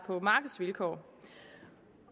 på markedsvilkår